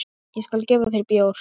Ég skal gefa þér bjór.